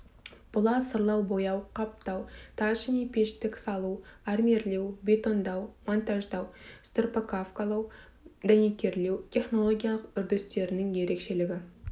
бұла сырлау бояу қаптау тас және пештік салу армирлеу бетондау монтаждау строповкалау дәнекерлеу технологиялық үрдістерінің ерекшелігі